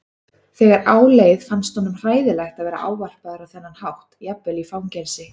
Þegar á leið fannst honum hræðilegt að vera ávarpaður á þennan hátt jafnvel í fangelsi.